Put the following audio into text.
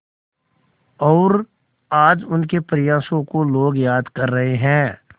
और आज उनके प्रयासों को लोग याद कर रहे हैं